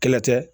Kɛlɛ tɛ